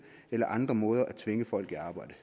eller andre måder at tvinge folk i arbejde